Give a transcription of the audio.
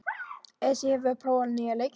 Esí, hefur þú prófað nýja leikinn?